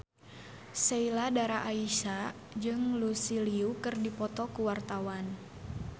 Sheila Dara Aisha jeung Lucy Liu keur dipoto ku wartawan